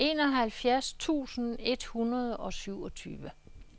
enoghalvfjerds tusind et hundrede og syvogtyve